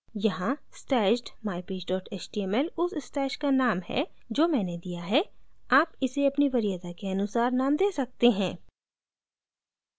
यहाँ stashed mypage html उस stash का name है जो मैंने दिया है आप इसे अपनी वरीयता के अनुसार name दे सकते हैं